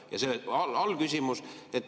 Ja selle allküsimus.